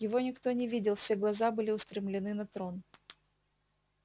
его никто не видел все глаза были устремлены на трон